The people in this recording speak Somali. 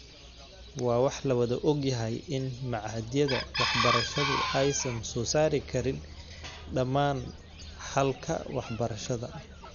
Waa wax la wada ogyahay in machadyada waxbarashadu aysan soo saari karin dhammaan xalalka warshadaha.